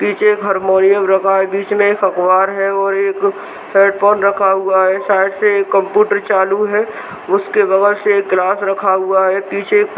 पीछे एक हॉर्मोनियम रखा है बीच में एक अख़बार है और एक हैडफ़ोन रखा हुआ है साइड से एक कंप्यूटर चालू है उसके बगल से एक गिलास रखा हुआ है पीछे--